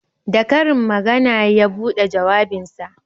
Da karin magana ya buɗe jawabinsa